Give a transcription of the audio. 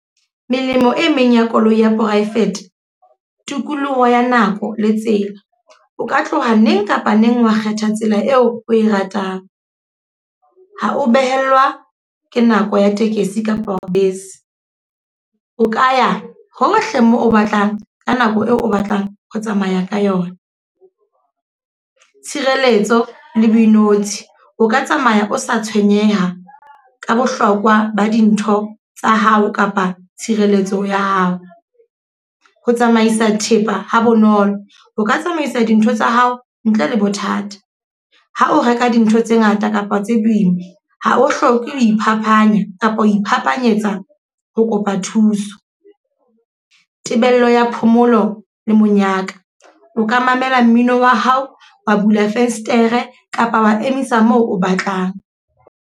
Melemo e meng ya koloi ya private. Tikoloho ya nako le tsela. O ka tloha neng kapa neng wa kgetha tsela eo o e ratang. Ha o behelwa ke nako ya tekesi kapa bese. O ka ya hohle moo o batlang, ka nako eo o batlang ho tsamaya ka yona. Tshireletso le boinotshing, o ka tsamaya o sa tshwenyeha ka bohlokwa ba dintho tsa hao kapa tshireletso ya hao. Ho tsamaisa thepa ha bonolo. O ka tsamaisa dintho tsa hao ntle le bothata. Ha o reka dintho tse ngata kapa tse boima, ha o hloke ho iphapanya kapa ho iphaphanyetsa ho kopa thuso. Tebello ya phomolo le monyaka. O ka mamela mmino wa hao, wa bula fesetere kapa wa emisa moo o batlang.